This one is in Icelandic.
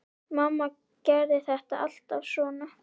Mamma gerði þetta alltaf svona.